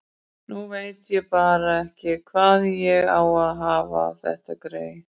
Nú veit ég bara ekki hvar ég á að hafa þetta grey.